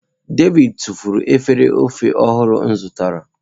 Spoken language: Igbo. David tufuru efere ofe ọhụrụ m zụtara.